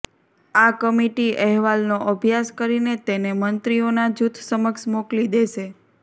આ કમિટી અહેવાલનો અભ્યાસ કરીને તેને મંત્રીઓના જૂથ સમક્ષ મોકલી દેશે